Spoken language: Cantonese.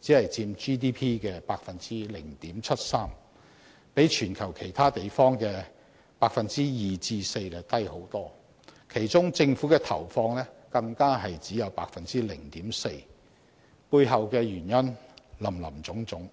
只佔 GDP 的 0.73%， 遠低於全球其他地方所佔的 2% 至 4%， 其中政府的投放更只有 0.4%， 背後的原因林林總總。